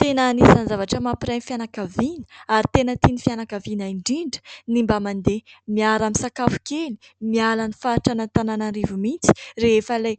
Tena anisan'ny zavatra mampiray ny fianakaviana ary tena tian'ny fianakaviana indrindra ny mba mandeha miara-misakafo kely ; miala ny faritr'Antananarivo mihitsy rehefa ilay